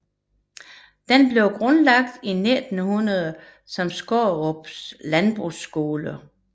Den blev grundlagt i 1900 som Skårup Landbrugsskole